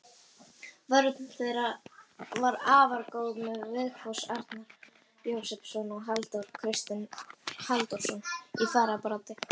Vörn þeirra var afar góð með Vigfús Arnar Jósepsson og Halldór Kristinn Halldórsson í fararbroddi.